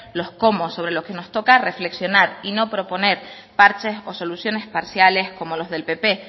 los cómos sobre los que nos toca reflexionar y no proponer parches o soluciones parciales como los del pp